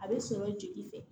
A bɛ sɔrɔ jeli fɛ